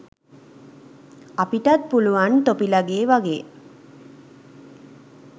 අපිටත් පුළුවන් තොපිලගේ වගේ